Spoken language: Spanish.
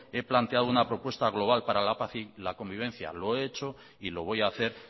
he planteado una propuesta global para la paz y la convivencia lo he hecho y lo voy a hacer